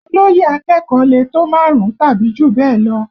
Olóyè akẹ́kọ̀ọ́ lè tó márùn-ún tàbí jù bẹ́ẹ̀ lọ